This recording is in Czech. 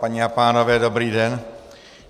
Paní a pánové, dobrý den.